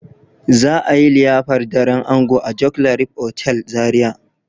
za a yi liyafar daren ango a joclarif otal Zaria.